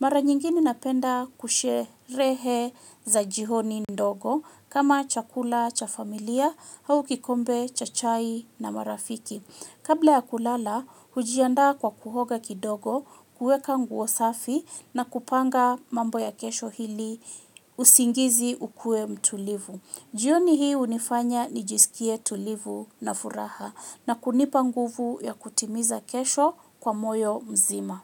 Mara nyingine napenda kusherehe za jioni ndogo kama chakula cha familia au kikombe cha chai na marafiki. Kabla ya kulala, hujianda kwa kuoga kidogo, kueka nguo safi na kupanga mambo ya kesho ili usingizi ukue mtulivu. Jioni hii hunifanya nijisikie tulivu na furaha na kunipa nguvu ya kutimiza kesho kwa moyo mzima.